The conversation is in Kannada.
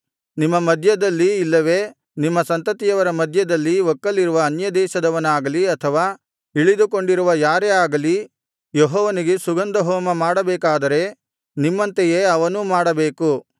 ನಿಮ್ಮ ಮಧ್ಯದಲ್ಲಿ ಇಲ್ಲವೆ ನಿಮ್ಮ ಸಂತತಿಯವರ ಮಧ್ಯದಲ್ಲಿ ಒಕ್ಕಲಿರುವ ಅನ್ಯದೇಶದವನಾಗಲಿ ಅಥವಾ ಇಳಿದುಕೊಂಡಿರುವ ಯಾರೇ ಆಗಲಿ ಯೆಹೋವನಿಗೆ ಸುಗಂಧ ಹೋಮ ಮಾಡಬೇಕಾದರೆ ನಿಮ್ಮಂತೆಯೇ ಅವನೂ ಮಾಡಬೇಕು